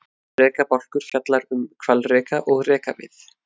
Rekabálkur fjallar um hvalreka og rekavið.